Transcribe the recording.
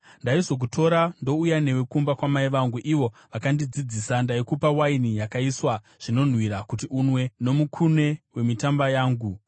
Ndaizokutora ndouya newe kumba kwamai vangu, ivo vakandidzidzisa. Ndaikupa waini yakaiswa zvinonhuhwira kuti unwe, nomukume wemitamba yangu.